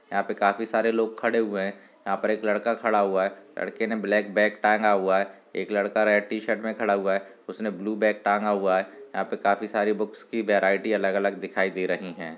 यहाँ पे काफी सारे लोग खड़े हुए है यहाँ पर एक लड़का खड़ा हुआ है लड़के ने ब्लैक बैग टांगा हुआ है एक लड़का रेड टी-शर्ट में खड़ा हुआ है उसने ब्लू बैग टांगा हुआ है यहाँ पे काफी सारी बुकस की बैराइटी अलग-अलग दिखाई दे रही है।